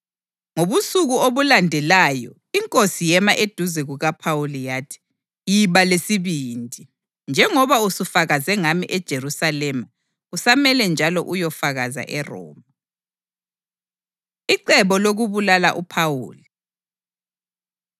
Ngobusuku obulandelayo iNkosi yema eduze kukaPhawuli yathi, “Iba lesibindi! Njengoba usufakaze ngami eJerusalema, kusamele njalo uyofakaza eRoma.” Icebo Lokubulala UPhawuli